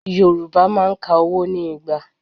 Yorùbá máa ń ka owó ní Igba.